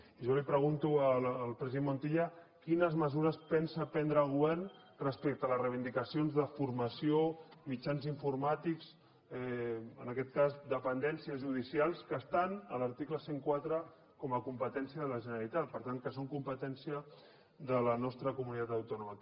i jo li pregunto al president montilla quines mesures pensa prendre el govern respecte a les reivindicacions de formació mitjans informàtics en aquest cas dependències judicials que estan a l’article cent i quatre com a competència de la generalitat per tant que són competència de la nostra comunitat autònoma